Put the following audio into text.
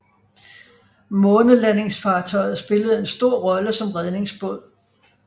Månelandingsfartøjet spillede en stor rolle som redningsbåd